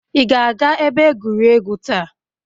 Ị ga-aga ebe egwuregwu taa?